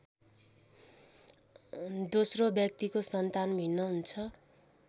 दोस्रो व्यक्तिको सन्तान भिन्न हुन्छ।